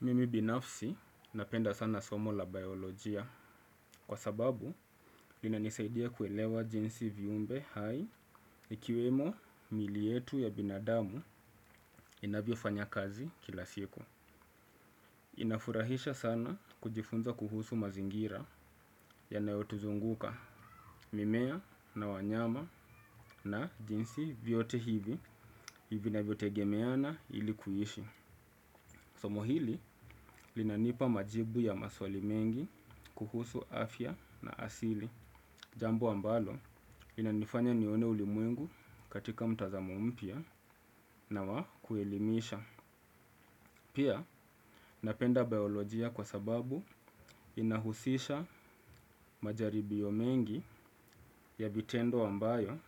Mimi binafsi napenda sana somo la biolojia kwa sababu linanisaidia kuelewa jinsi viumbe hai ikiwemo mili yetu ya binadamu inavyofanya kazi kila siku. Inafurahisha sana kujifunza kuhusu mazingira yanayotuzunguka mimea na wanyama na jinsi vyote hivi hivi vinavyotegemeana ili kuishi. Somo hili linanipa majibu ya maswali mengi kuhusu afya na asili. Jambo ambalo linanifanya nione ulimwengu katika mtazamo mpya na wa kuelimisha. Pia napenda biolojia kwa sababu inahusisha majaribio mengi ya vitendo ambayo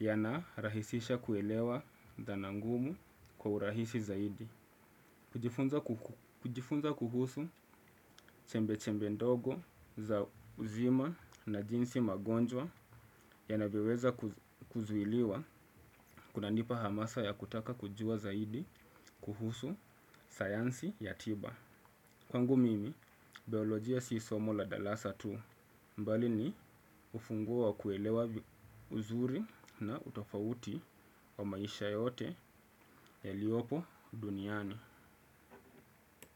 yanarahisisha kuelewa dhana ngumu kwa urahisi zaidi. Kujifunza kuhusu chembe-chembe ndogo za uzima na jinsi magonjwa yanavyoweza kuzuiliwa kunanipa hamasa ya kutaka kujua zaidi kuhusu sayansi ya tiba. Kwangu mimi, biolojia si somo la darasa tu bali ni ufunguo wa kuelewa uzuri na utofauti wa maisha yote yaliopo duniani.